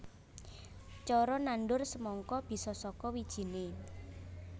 Cara nandur semangka bisa saka wijiné